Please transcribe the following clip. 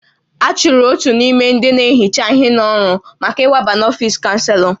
A chụrụ otu n'ime ndị na-ehicha ihe n'ọrụ maka ịwaba n'ọfisi Chanselọ